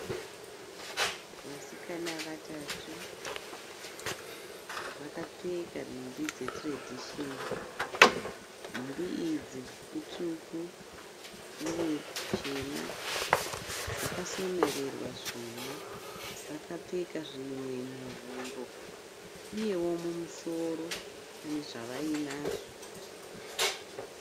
Vasikana vatatu vakapfeka nhumbi dze tiredhishini. Nhumbi idzi itsvuku, uye chena. Dzakasonererwa zvuma. Vakapfeka zvimwe muhuro. Uyewo mumusoro pane zvavainazvo.